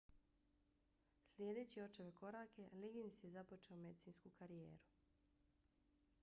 slijedeći očeve korake liggins je započeo medicinsku karijeru